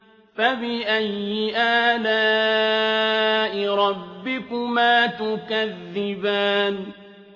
فَبِأَيِّ آلَاءِ رَبِّكُمَا تُكَذِّبَانِ